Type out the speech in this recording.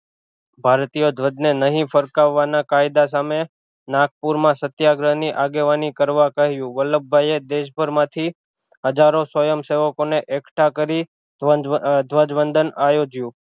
ભારતીય ધ્વજ ને નહિ ફરકાવાના કાયદા સામે નાગપુર માં સત્યાગ્રહ ની આગેવાની કરવા કહ્યું વલ્લભભાઈ એ દેશભર માં થી હજારો સ્વયં સેવકો ને એકઢા કરી ધજ ધ્વજવંદાન આયોજ્યું